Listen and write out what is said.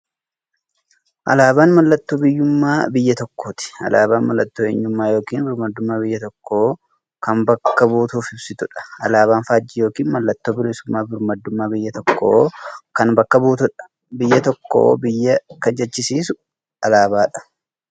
Alaabaan mallattoo biyyuummaa biyya tokkooti. Alaabaan mallattoo eenyummaa yookiin birmadummaa biyya tokkoo kan bakka buutuuf ibsituudha. Alaabaan faajjii yookiin maallattoo bilisuummaafi birmaadummaa biyya tokkoo kan bakka buutuudha. Biyya tokko biyya kan jechisisuu alaabaadha.